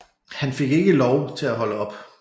Han fik ikke Lov til at holde op